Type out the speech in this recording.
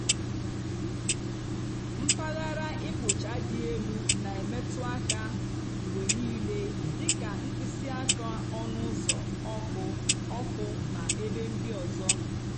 mpaghara ịkpụcha dị elu na-emetụ aka mgbe niile dị ka mkpịsị aka ọnụ ụzọ ọkụ ọkụ na ebe ndị ọzọ.